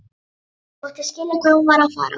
Þóttist skilja hvað hún var að fara.